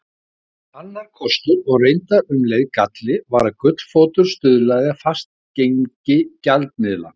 Annar kostur og reyndar um leið galli var að gullfótur stuðlaði að fastgengi gjaldmiðla.